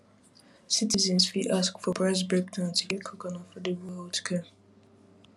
citizens fit ask for price breakdown to get quick and affordable healthcare